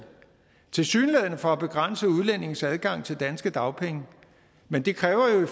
tilsyneladende for at begrænse udlændinges adgang til danske dagpenge men det kræver jo